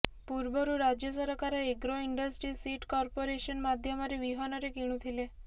ପୂର୍ବରୁ ରାଜ୍ୟ ସରକାର ଏଗ୍ରୋ ଇଣ୍ଡଷ୍ଟ୍ରି ସିଡ କର୍ପୋରେସନ ମାଧ୍ୟମରେ ବିହନରେ କିଣୁଥିଲେ